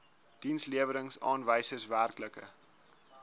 dienslewerings aanwysers werklike